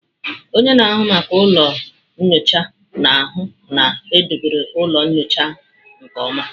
Onye na-ahụ maka ụlọ nyocha na-ahụ na edobere ụlọ nyocha nke ọma.